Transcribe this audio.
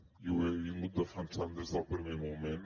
i ho he defensat des del primer moment